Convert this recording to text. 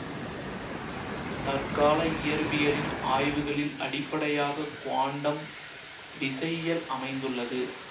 தற்கால இயற்பியலின் ஆய்வுகளில் அடிப்படையாக குவாண்டம் விசையியல் அமைந்துள்ளது